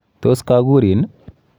Tos kakurin?